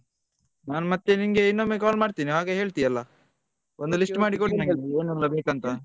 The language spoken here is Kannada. ನಾನ್ ಮತ್ತೆ ನಿನ್ಗೆ ಇನ್ನೊಮ್ಮೆ call ಮಾಡ್ತೇನೆ ಆಗ ಹೇಳ್ತಿ ಅಲ್ಲ ಒಂದು list ಮಾಡಿಕೊಡು ನಂಗೆ ಯಾವದೆಲ್ಲ ಬೇಕಂತ.